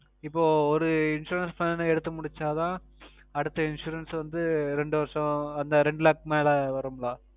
இப்போ ஒரு Insurance plan எடுத்து முடுச்சா தான் அடுத்த Insurance வந்து இரண்டு வருஷம் உம் அந்த இரண்டு Lakhs மேல் வரும்கலா